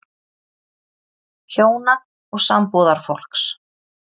HJÓNA OG SAMBÚÐARFÓLKS